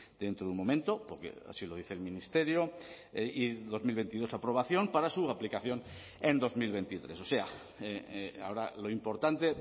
dentro de un momento porque así lo dice el ministerio y dos mil veintidós aprobación para su aplicación en dos mil veintitrés o sea ahora lo importante